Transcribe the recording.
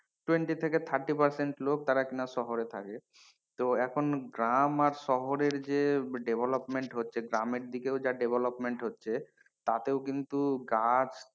Twenty থেকে thirty percent লোক যারা কিনা শহরে থাকে তো এখন গ্রাম আর শহরের যে development হচ্ছে গ্রামের দিকেও যা development হচ্ছে তাতেও কিন্তু গাছ,